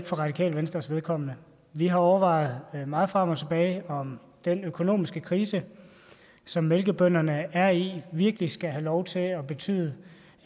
for radikale venstres vedkommende vi har overvejet meget frem og tilbage om den økonomiske krise som mælkebønderne er i virkelig skal have lov til at betyde